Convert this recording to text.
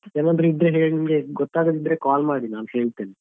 ಏನಾದ್ರು ಇದ್ರೆ ನಿಮ್ಗೆ ಗೊತ್ತಾಗದಿದ್ರೆ call ಮಾಡಿ ನಾನ್ ಹೇಳ್ತೇನೆ.